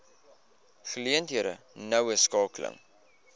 geleenthede noue skakeling